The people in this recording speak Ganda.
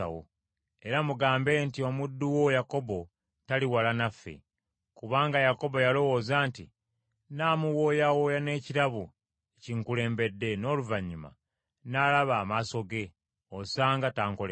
era mugambe nti, ‘Omuddu wo Yakobo tali wala naffe.’ ” Kubanga Yakobo yalowooza nti, “Nnaamuwooyawooya n’ekirabo ekinkulembedde, n’oluvannyuma nnaalaba amaaso ge, osanga tankole kabi.”